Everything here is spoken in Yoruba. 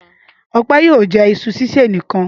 Ọpẹ́ yóò jẹ iṣu sísè nìkan.